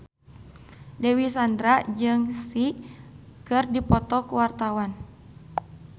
Dewi Sandra jeung Psy keur dipoto ku wartawan